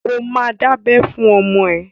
Ó ma dábẹ́ fún ọmọ ẹ!